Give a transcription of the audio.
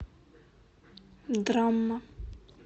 драма